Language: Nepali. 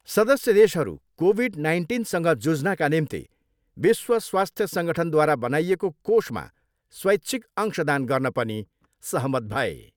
सदस्य देशहरू कोभिड नाइन्टिनसँग जुझ्नाका निम्ति विश्व स्वास्थ्य सङ्गठनद्वारा बनाइएको कोषमा स्वैच्छिक अंशदान गर्न पनि सहमत भए।